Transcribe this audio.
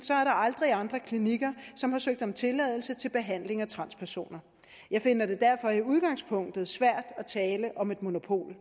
aldrig været andre klinikker som har søgt om tilladelse til behandling af transpersoner jeg finder det derfor i udgangspunktet svært at tale om et monopol